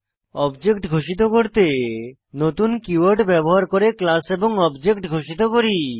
object ঘোষিত করতে নতুন কীওয়ার্ড ব্যবহার করে ক্লাস এবং অবজেক্ট ঘোষিত করি